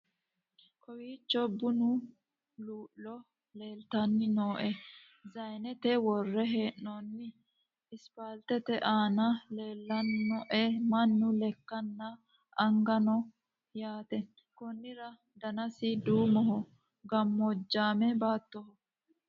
kowiicho bunu luu'lo leltanni no zayinete worre hee'noonni ispaltete aana leelannoe mannu lekanna anagano no yaate ,konnira danasi duumoho gammoojjaame baatttoho